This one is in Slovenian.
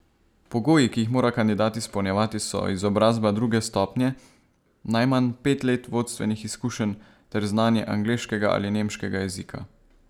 Pogoji, ki jih mora kandidat izpolnjevati, so izobrazba druge stopnje, najmanj pet let vodstvenih izkušenj ter znanje angleškega ali nemškega jezika.